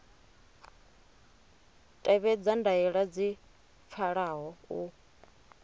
tevhedza ndaela dzi pfalaho u